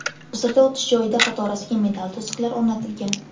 Hozirda o‘tish joyida qatorasiga metall to‘siqlar o‘rnatilgan.